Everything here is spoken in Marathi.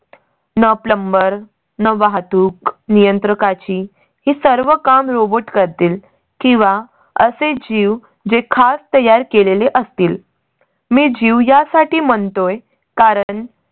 न plumber न वाहतूक नियंत्रकाची ही सर्व काम robot करतील किंवा असे जीव जे खास तयार केलेले असतील. मी जीव यासाठी म्हणतोय कारण